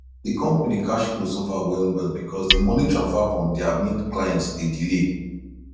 di company cash flow suffer well well because di money transfer from dia main client dey delay